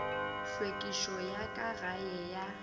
hlwekišo ya ka gae ya